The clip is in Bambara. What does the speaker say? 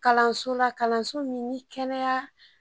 Kalanso la kalanso min ni kɛnɛya